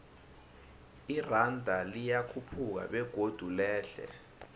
iranda liyakhuphuka begodu lehle